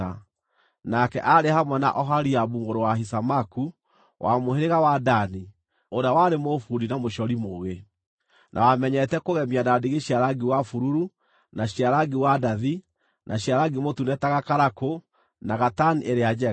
nake aarĩ hamwe na Oholiabu mũrũ wa Ahisamaku, wa mũhĩrĩga wa Dani, ũrĩa warĩ mũbundi na mũcori mũũgĩ, na wamenyete kũgemia na ndigi cia rangi wa bururu, na cia rangi wa ndathi, na cia rangi mũtune ta gakarakũ, na gatani ĩrĩa njega.)